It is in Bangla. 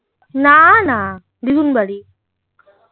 না না দিদুন বাড়ি